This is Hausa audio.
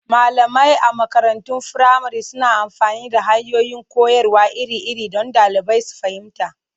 Malamai a makarantun firamare suna amfani da hanyoyin koyarwa iri-iri don ɗalibai su fahimta.